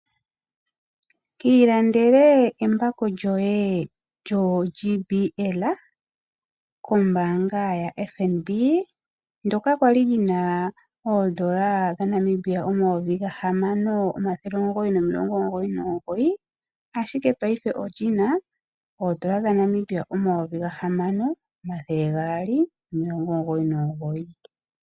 Kiilandele embako lyoye lyo JBL kombaanga ya FNB ndoka kwali li na oodola dhaNamibia omayovi gahamano omathele omugoyi nomilongo omugoyi nomugoyi ashike ngashingeyi oli na oodola dhaNamibia omayovi gahamano omathele gaali nomilongo omugoyi nomugoyi.